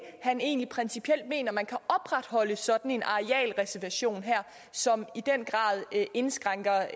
han egentlig principielt mener man kan opretholde sådan en arealreservation her som i den grad indskrænker